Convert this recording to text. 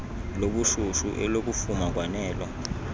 lobushushu elokufuma kwanelo